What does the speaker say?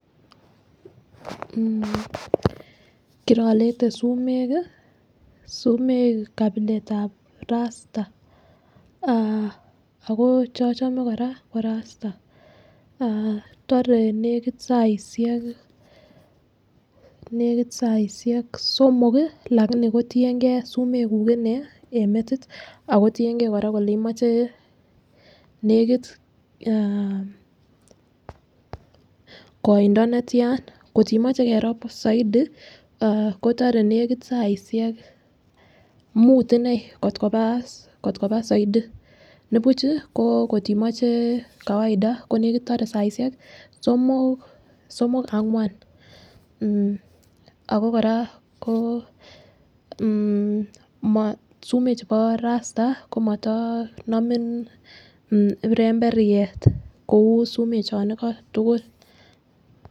mmh kirolete sumek kii, sumek kapiletab ruster ako cheochome Koraa ko ruster aah tore nekit saishek, nekit saishek somok lakini ko tiyengee sumekuk inee en metit ako tiyen gee Koraa kele imoche nekit aah koindo netyana kotimoche kerob soidi kotore nekitt saishek mut inee kot koba soidi nibuchi kotindoi kawaida ko nekit tore saishek somok angwan mmh. Ako Koraa ko mmh sumek chebo [ca]ruster komotoo nomin ipemberiet kou sumek chon iko tukul.